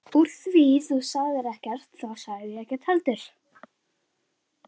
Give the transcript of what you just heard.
Úr því þú sagðir ekkert þá sagði ég ekkert heldur.